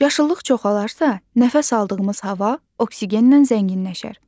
Yaşıllıq çoxalarsa, nəfəs aldığımız hava oksigenlə zənginləşər.